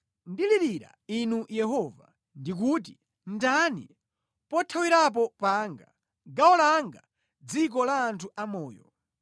Ndilirira Inu Yehova; ndikuti, “Ndinu pothawirapo panga, gawo langa mʼdziko la anthu amoyo.”